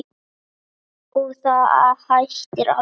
Og það hættir aldrei.